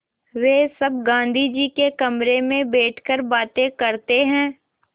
वे सब गाँधी जी के कमरे में बैठकर बातें करते हैं